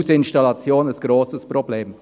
Hausinstallation, ein grosses Problem.